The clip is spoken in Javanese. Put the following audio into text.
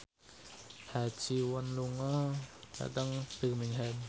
Ha Ji Won lunga dhateng Birmingham